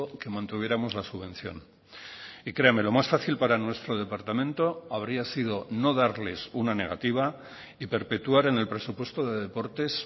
que mantuviéramos la subvención y créame lo más fácil para nuestro departamento habría sido no darles una negativa y perpetuar en el presupuesto de deportes